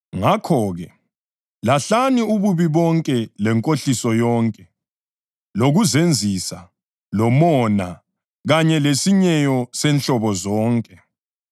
Ngakho-ke, lahlani ububi bonke lenkohliso yonke, lokuzenzisa, lomona, kanye lesinyeyo senhlobo zonke.